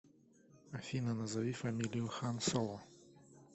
афина назови фамилию хан соло